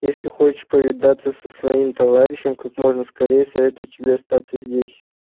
если хочешь повидаться со своим товарищем как можно скорее советую тебе остаться здесь